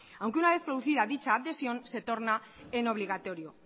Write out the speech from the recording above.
aunque una vez producida dicha adhesión se torna en obligatorio